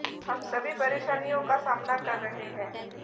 हम सभी परेशानियों का सामना कर रहे हैं